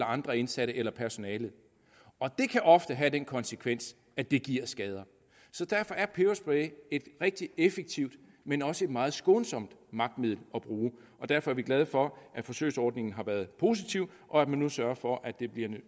andre indsatte eller personale det kan ofte have den konsekvens at det giver skader så derfor er peberspray et rigtig effektivt men også et meget skånsomt magtmiddel at bruge og derfor er vi glade for at forsøgsordningen har været positiv og at man nu sørger for at det bliver